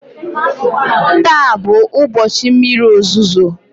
taa bụ ụbọchị mmiri ozuzo